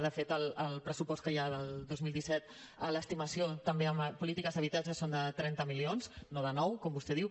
de fet el pressupost que hi ha del dos mil disset l’estimació també en polítiques d’habitatge és de trenta milions no de nou com vostè diu